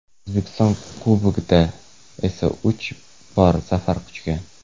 O‘zbekiston Kubogida esa uch bor zafar quchgan.